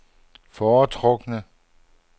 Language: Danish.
foretrukne